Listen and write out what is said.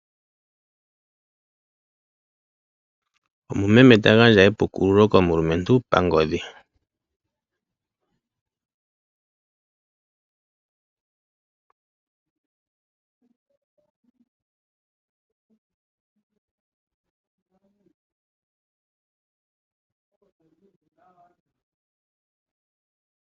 Omumeme ta gandja epukululo komulumentu pangodhi.